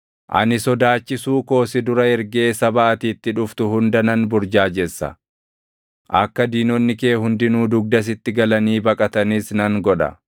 “Ani sodaachisuu koo si dura ergee saba ati itti dhuftu hunda nan burjaajessa. Akka diinonni kee hundinuu dugda sitti galanii baqatanis nan godha.